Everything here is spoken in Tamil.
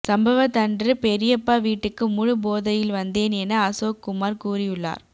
சம்பவதன்று பெரியப்பா வீட்டுக்கு முழு போதையில் வந்தேன் என அசோக்குமார் கூறியுள்ளார்